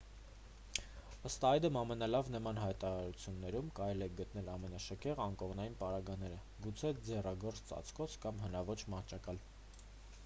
ըստ այդմ ամենալավ նման հաստատություններում կարելի է գտնել ամենաշքեղ անկողնային պարագաները գուցե ձեռագործ ծածկոց կամ հնաոճ մահճակալ